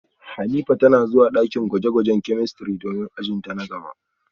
Hanifa tana zuwa dakin gwaje-gwajen chemistry domin ajin ta na gaba